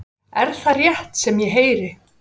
Er það rétt sem ég heyri?